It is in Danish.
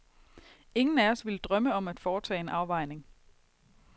Ingen af os vil drømme om at foretage en afvejning.